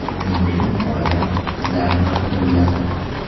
Shuning uchun oilam, qizlarim haqida o‘yladim.